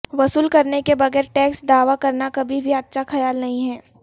وصول کرنے کے بغیر ٹیکس دعوی کرنا کبھی بھی اچھا خیال نہیں ہے